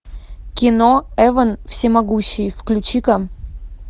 кино эван всемогущий включи ка